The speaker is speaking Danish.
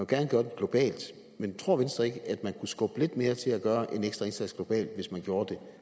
gerne gøre det globalt men tror venstre ikke at vi kunne skubbe lidt mere til at gøre en ekstra indsats globalt hvis vi gjorde det